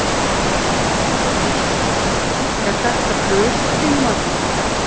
Helga Arnardóttir: Er þetta bruðl að þínu mati?